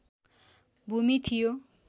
भूमि थियो